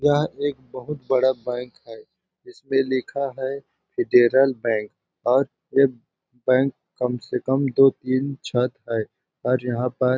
यह एक बहुत बड़ा बैंक है इसके पे लिखा है इटेरल बैंक और ये बैंक कम से कम दो-तीन छत है और यहाँ पर--